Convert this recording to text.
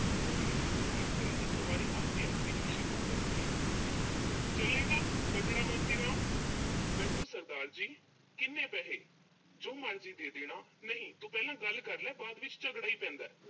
ਕੋਈ ਲੋੜ ਨੀਂ ਭਾਲ ਕਰਨ ਦੀ ਸਵਾਰੀ ਆਪੇ ਆਊਗੀ ਰਿਕਸ਼ੇ ਕੋਲ ਚੱਲ ਕੇ, ਚੱਲੇਂਗਾ ਮੋਤੀ ਰਾਮ। ਬੈਠੋ ਸਰਦਾਰ ਜੀ। ਕਿੰਨੇ ਪੈਸੇ? ਜੋ ਮਰਜ਼ੀ ਦੇ ਦੇਣਾ। ਨਹੀਂ ਤੂੰ ਪਹਿਲਾਂ ਗੱਲ ਕਰਲਾ, ਬਾਅਦ ਵਿੱਚ ਝਗੜਾ ਹੀ ਪੈਂਦਾ।